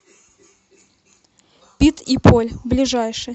пит и поль ближайший